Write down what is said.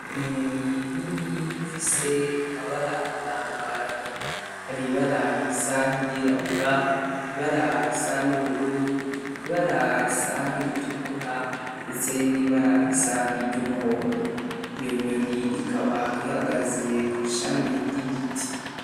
Inyoni nini ifise amabara atandukanye, hari ibara risa nkiryirabura, ibara risa n'ubururu, ibara risa nkiritukura ndetse n'ibara risa nkiryumuhondo. Iyo nyoni ikaba ihagaze kw'ishami ry'igiti.